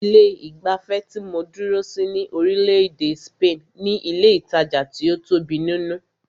Ilé ìgbafẹ́ tí mó dúró sí ní orílẹ̀-èdè spaini ní ilé ìtajà tí o tóbi nínú.